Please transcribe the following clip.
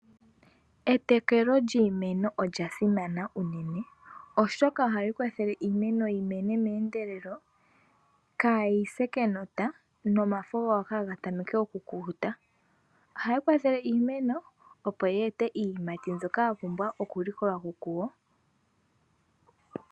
Etekelo lyiimeno olyasimana uunene oshoka ohali kwathele iimeno yimene meendelelo, kayise kenota, nomafo kaga tameke okukukuta. Ohaya kwathele iimeno opo yi ete iiyimati mbyoka yapumbwa okulikolwa ko kuyo.